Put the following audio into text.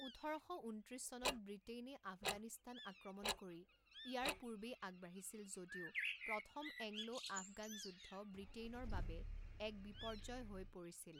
ওঠৰ শ ঊনত্ৰিছ চনত ব্ৰিটেইনে আফগানিস্তান আক্ৰমণ কৰি ইয়াৰ পূৰ্বেই আগবাঢ়িছিল যদিও প্ৰথম এংলো-আফগান যুদ্ধ ব্ৰিটেইনৰ বাবে এক বিপৰ্য্যয় হৈ পৰিছিল।